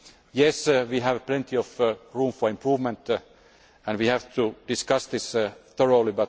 Yes, we have plenty of room for improvement and we have to discuss this thoroughly.